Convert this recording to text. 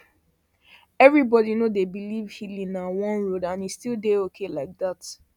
everybody no dey believe healing na one road and e still dey okay like that